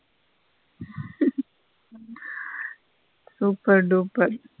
Super dupper.